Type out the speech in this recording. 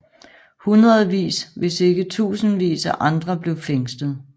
Hundredvis hvis ikke tusindvis af andre blev fængslet